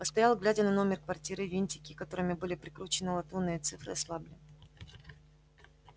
постоял глядя на номер квартиры винтики которыми были прикручены латунные цифры ослабли